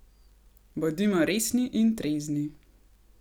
Bodimo resni in trezni!